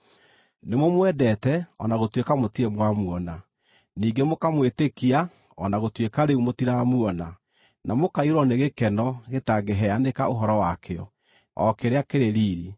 Nĩmũmwendete o na gũtuĩka mũtirĩ mwamuona; ningĩ mũkamwĩtĩkia o na gũtuĩka rĩu mũtiramuona, na mũkaiyũrwo nĩ gĩkeno gĩtangĩheanĩka ũhoro wakĩo, o kĩrĩa kĩrĩ riiri,